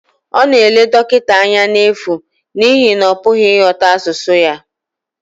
Ọ na-ele dọkịta anya n'efu n'ihi na ọ pụghị ịghọta asụsụ ya